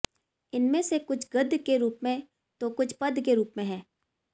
इनमें से कुछ गद्ध के रूप में तो कुछ पद्ध के रूप में हैं